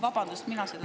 Vabandust!